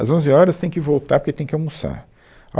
Às onze horas tem que voltar porque tem que almoçar. A